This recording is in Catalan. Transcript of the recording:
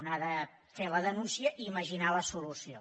un ha de fer la denúncia i imaginar la solució